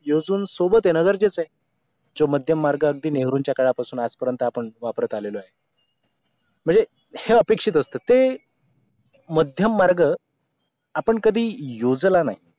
योजून सोबत येणं गरजेचं आहे जो मध्यम मार्ग अगदी नेहरूंच्या काळापासून आज पर्यंत आपण वापरत आलेलो आहे म्हणजे हे अपेक्षित असतं ते मध्यम मार्ग आपण कधी योजला नाही